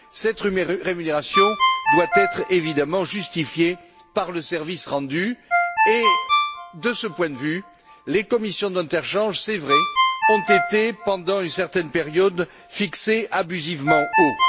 Celle ci doit être évidemment justifiée par le service rendu et, de ce point de vue, les commissions d'interchange il est vrai ont été, pendant une certaine période, fixées abusivement haut.